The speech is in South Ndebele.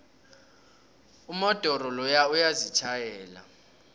umodoro loya uyazitjhayela